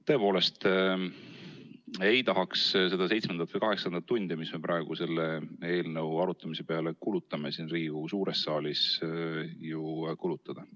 Tõepoolest ei tahaks seda seitsmendat või kaheksandat tundi, mida me praegu selle eelnõu arutamise peale siin Riigikogu suures saalis kulutame, ju kulutada.